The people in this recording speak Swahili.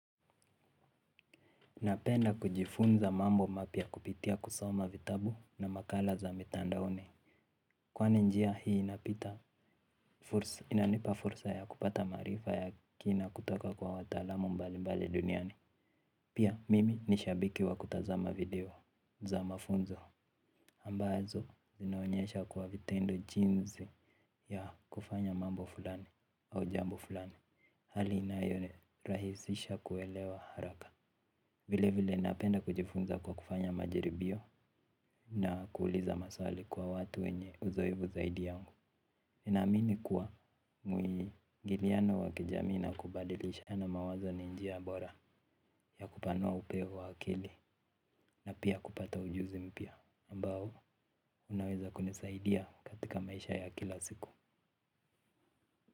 Napenda kujifunza mambo mapya kupitia kusoma vitabu na makala za mitandaoni. Kwani njia hii inapita inanipa fursa ya kupata maarifa ya kina kutoka kwa watalamu mbali mbali duniani. Pia mimi ni shabiki wa kutazama video za mafunzo ambazo zinaonyesha kwa vitendo jinzi ya kufanya mambo fulani au jambo fulani. Hali inayo rahisisha kuelewa haraka. Vile vile napenda kujifunza kwa kufanya majaribio na kuuliza maswali kwa watu wenye uzoevu zaidi yangu ninaamini kuwa mwingiliano wa kijamii na kubadilishana mawazo ni njia bora ya kupanua upeo wa akili na pia kupata ujuzi mpya ambao unaweza kunisaidia katika maisha ya kila siku.